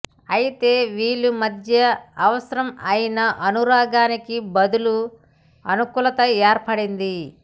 అయితే వీళ్ల మధ్య అవసరం అయిన అనురాగానికి బదులు అనుకూలత ఏర్పడింది